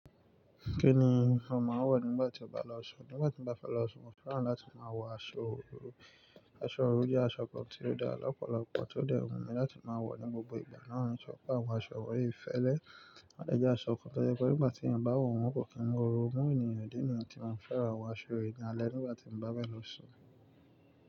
Kí ni a máa ń wọ̀ nígbà tí a bá lọ sun? Nígbà tí mo bá fẹ́ lọ sun, mo fẹ́ràn láti máa wọ aṣọ òru. Aṣọ òru jẹ́ aṣọ kan tí da ra lọ́pọ̀lọpọ̀ tí ó dè wù mí láti maa wọ ní gbogbo ìgbà. Náà ni wọ́n sọ pé àwọn aṣọ wọ̀nyí fẹ́lẹ́. Wọ́n dẹ́jẹ́ aṣọ kan tó jẹ́ pé nígbà tí ẹ̀yin bá wọ̀ wọ́n kò kí ń mú òru mú ènìyàn. Ìdí nìyẹn tí mo fi fẹ́ràn àwọn aṣọ yì ní alẹ́ nígbà tí mo bá fẹ́ lọ sun.